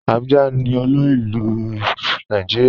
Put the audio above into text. Abuja ni òlu ilú ilu Nàìjíríà.